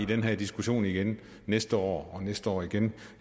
den her diskussion igen næste år og næste år igen